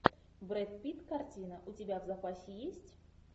брэд питт картина у тебя в запасе есть